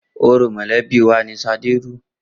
Orò mọ̀lẹ́bí wà ni Ṣadé rú.